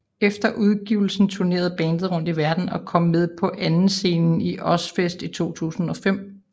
Efter udgivelsen tournerede bandet rundt i verdenen og kom med på andenscenen til Ozzfest i 2005